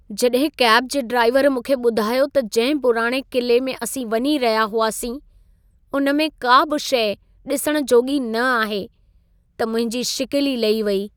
जॾहिं कैब जे ड्राइवर मूंखे ॿुधायो त जंहिं पुराणे क़िले में असीं वञी रहिया हुआसीं, उन में का बि शइ ॾिसण जोॻी न आहे, त मुंहिंजी शिकिल ई लही वेई।